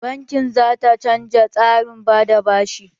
Banki za ta canja tsarin ba da bashi.